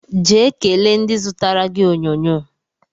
Jee kelee ndị zụtara gị onyonyo